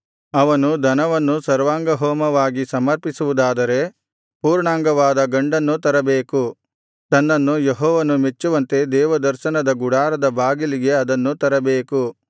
ಅವನು ದನವನ್ನು ಸರ್ವಾಂಗಹೋಮವಾಗಿ ಸಮರ್ಪಿಸುವುದಾದರೆ ಪೂರ್ಣಾಂಗವಾದ ಗಂಡನ್ನು ತರಬೇಕು ತನ್ನನ್ನು ಯೆಹೋವನು ಮೆಚ್ಚುವಂತೆ ದೇವದರ್ಶನದ ಗುಡಾರದ ಬಾಗಿಲಿಗೆ ಅದನ್ನು ತರಬೇಕು